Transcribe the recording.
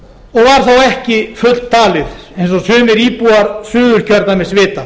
og var þó ekki fulltalið eins og sumir íbúar suðurkjördæmis vita